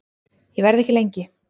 Ég verð ekki lengi